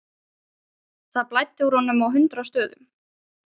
Það blæddi úr honum á hundrað stöðum.